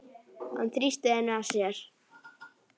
Hann þrýsti henni að sér.